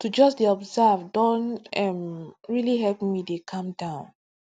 to just dey observe don um really help me dey calm